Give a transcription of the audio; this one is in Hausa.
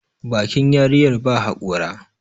bakin yarinyar ba haƙora